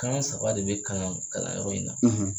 Kan saba de bɛ kalan kalanyɔrɔ in na.